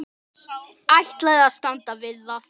Ætlaði að standa við það.